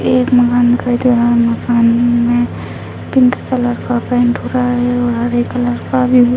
एक मकान दिखाई दे रहा है मकान में पिंक कलर का पेंट हो रहा है और हरे कलर का भी --